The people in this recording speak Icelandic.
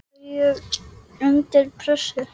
er ég undir pressu?